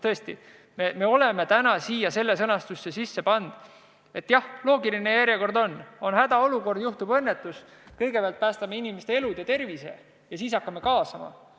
Tõesti, me oleme täna siia sellesse sõnastusse sisse pannud, et jah, loogiline järjekord on selline, et kui on hädaolukord ja juhtub õnnetus, siis kõigepealt päästame inimeste elu ja tervise ning seejärel hakkame kaasama.